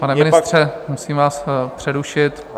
Pane ministře, musím vás přerušit.